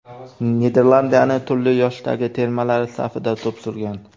Niderlandiyaning turli yoshdagi termalari safida to‘p surgan.